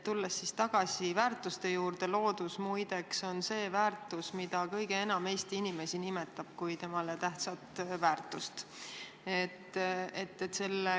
Tuleks tagasi väärtuste juurde – loodus, muide, on see väärtus, mida kõige enam Eesti inimesi nimetab kui temale tähtsat väärtust.